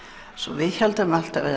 við héldum